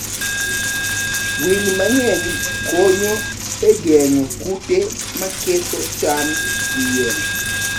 Winy mang'eny konyo e geng'o kute maketho cham gi yien.